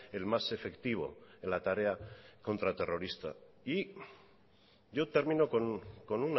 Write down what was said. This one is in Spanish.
el más efectivo en la tarea contraterrorista y yo termino con